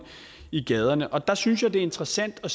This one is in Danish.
i gaderne og der synes jeg det er interessant at